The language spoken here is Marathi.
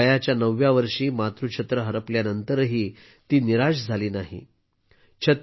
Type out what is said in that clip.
वयाच्या 9 व्या वर्षी मातृछत्र हरपल्यानंतरही त्या निराश झाल्या नाहीत